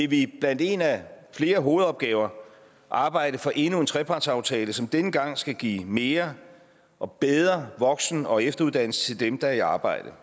vi blandt en af flere hovedopgaver arbejde for endnu en trepartsaftale som denne gang skal give mere og bedre voksen og efteruddannelse til dem der er i arbejde